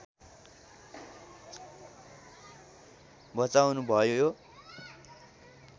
बचाउनु भयो यो